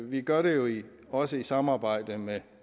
vi gør det jo også i samarbejde med